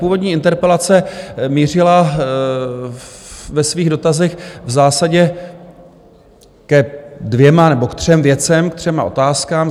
Původní interpelace mířila ve svých dotazech v zásadě ke dvěma nebo k třem věcem, ke třem otázkám.